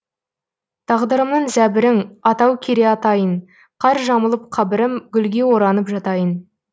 тағдырымның зәбірің атау кере атайын қар жамылып қабірім гүлге оранып жатайын